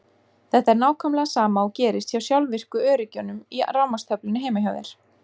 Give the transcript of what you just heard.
Þetta er nákvæmlega sama og gerist hjá sjálfvirku öryggjunum í rafmagnstöflunni heima hjá þér.